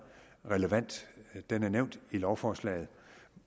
relevant og den er nævnt i lovforslaget